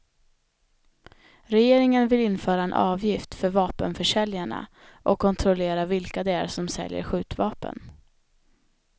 Regeringen vill införa en avgift för vapenförsäljarna och kontrollera vilka det är som säljer skjutvapen.